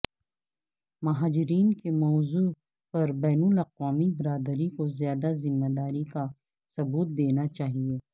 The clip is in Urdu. مہاجرین کے موضوع پر بین الاقوامی برادری کو زیادہ ذمہ داری کا ثبوت دینا چاہیے